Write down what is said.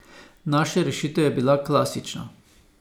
Naša rešitev je bila klasična.